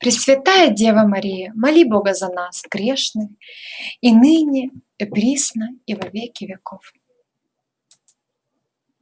пресвятая дева мария моли бога за нас грешных и ныне и присно и во веки веков